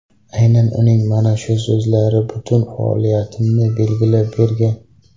Aynan uning mana shu so‘zlari butun faoliyatimni belgilab bergan”.